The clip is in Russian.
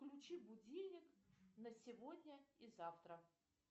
включи будильник на сегодня и завтра